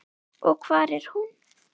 Og hvar er hún?